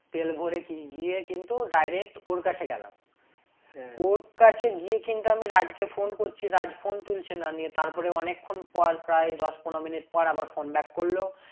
তেল ভোরে গিয়ে কিন্তু direct ওর কাছে গেলাম ওর কাছে গিয়ে কিন্তু আমি রাজকে phone করছি রাজ্ phone তুলছে না নিয়ে তারপরে অনেক্ষন পর প্রায় দশ পনেরো মিনিট পর আবার phone back করলো